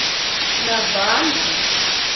navandla